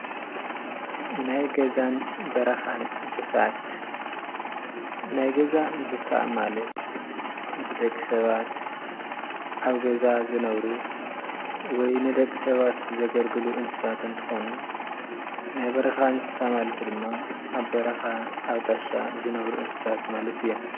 ናይ ገዛን በረኻን እንስሳት ናይ ገዛ እንስሳ ማለት ምስ ደቂ ሰባት ኣብ ገዛ ዝነብሩ ወይ ንደቂ ሰባት ዘገልግሉ እንስሳት እንትኾኑ ናይ በረኻ እንስሳ ማለት ድማ ኣብ በረኻ ኣብ ጣሻ ዝነብሩ እንስሳት ማለት እዮም፡፡